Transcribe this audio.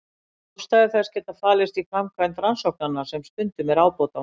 Ástæður þess geta falist í framkvæmd rannsóknanna sem stundum er ábótavant.